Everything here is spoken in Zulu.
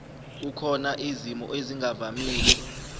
kukhona izimo ezingavamile